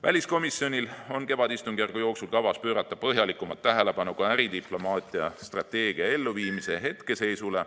Väliskomisjonil on kevadistungjärgu jooksul kavas pöörata põhjalikumat tähelepanu ka äridiplomaatia strateegia elluviimise hetkeseisule.